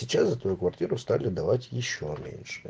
сейчас за твою квартиру стали давать ещё меньше